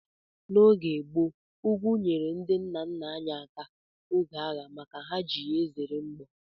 N'oge gboo, ugwu nyeere ndị nna nna anyị aka oge agha maka ha na-eji ye ezere mgbọ